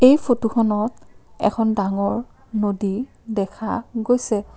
এই ফটোখনত এখন ডাঙৰ নদী দেখা গৈছে।